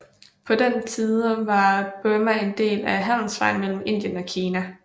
På den tide var Burma en del af handelsvejen mellem Indien og Kina